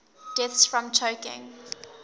deaths from choking